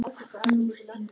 Nú þeir.